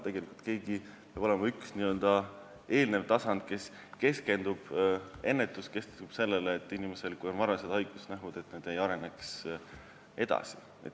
Tegelikult peaks olema üks eelnev tasand, ennetus, mis keskendub sellele, et kui inimesel on varased haigusnähud, siis need ei areneks edasi.